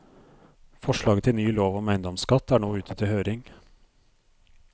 Forslaget til ny lov om eiendomsskatt er nå ute til høring.